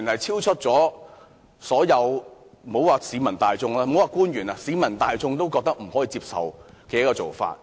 這種做法，莫說是對於官員，就連市民大眾也認為不可接受。